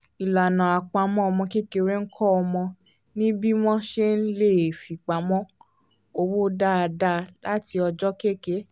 ìlànà àpamọ́ ọmọ kékeré ń kọ́ ọmọ ní bí wọ́n ṣe le fipamọ́ owó dáadáa láti ọjọ́ kẹ́kẹ́